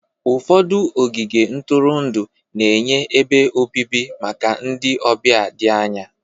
Ụfọdụ ogige ntụrụndụ na-enye ebe obibi maka ndị ọbịa dị anya